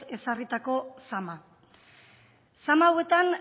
ezarritako zama zama hauetan